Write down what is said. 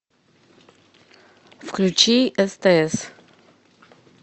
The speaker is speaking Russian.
включи стс